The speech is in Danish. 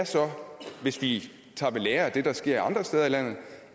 hvis vi tager ved lære af det der sker andre steder i landet